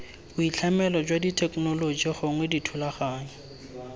boitlhamelo jwa thekenoloji gongwe dithulaganyo